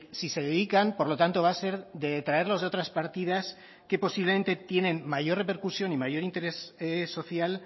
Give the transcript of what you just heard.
si se dedican por lo tanto va a ser de traerlos de otras partidas que posiblemente tienen mayor repercusión y mayor interés social